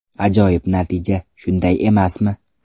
Ajoyib natija, shunday emasmi?